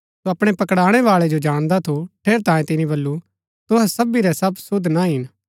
सो अपणै पकड़ाणै बाळै जो जाणदा थू ठेरैतांये तिनी बल्लू तुहै सबी रै सब शुद्ध ना हिन